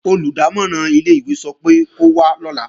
Olùdámọ̀ràn ilé-ìwé sọ pé kó wá lọ́la